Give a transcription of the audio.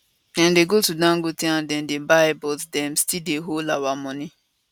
dem dey go to dangote and dem dey buy but dem still dey hold our moni